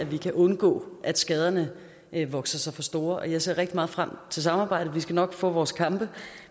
vi kan undgå at skaderne vokser sig for store jeg ser rigtig meget frem til samarbejdet vi skal nok få vores kampe